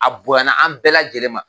A bonyana an bɛɛ lajɛlen ma.